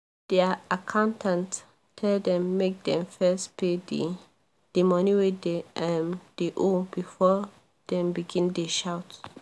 their accountant tell them make dem first pay the the money wey dem um dey owe before dem begin dey shout